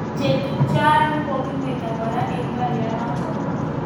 Chetubjo aeng kokimeiyo kora eng boryonotok.